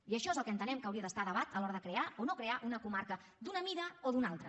i això és el que entenem que hauria d’estar a debat a l’hora de crear o no crear una comarca d’una mida o d’una altra